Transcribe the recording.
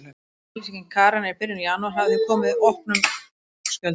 Yfirlýsing Karenar í byrjun janúar hafði því komið honum í opna skjöldu.